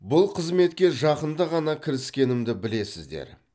бұл қызметке жақында ғана кіріскенімді білесіздер